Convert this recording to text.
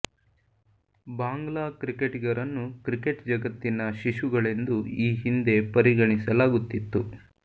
ಬಾಂಗ್ಲಾ ಕ್ರಿಕೆಟಿಗರನ್ನು ಕ್ರಿಕೆಟ್ ಜಗತ್ತಿನ ಶಿಶುಗಳೆಂದು ಈ ಹಿಂದೆ ಪರಿಕಣಿಸಲಾಗುತ್ತಿತ್ತು